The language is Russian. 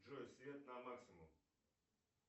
джой свет на максимум